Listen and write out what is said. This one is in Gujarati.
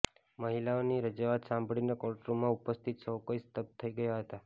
મહિલાની રજૂઆત સાંભળીને કોર્ટરૂમમાં ઉપસ્થિત સૌ કોઇ સ્તબ્ધ થઇ ગયા હતા